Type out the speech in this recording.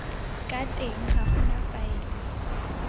ka teng ga gona faele